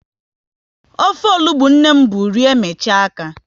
Ofe onugbu nne m bụ rie, michaa aka